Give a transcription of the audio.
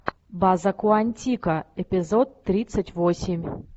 база куантико эпизод тридцать восемь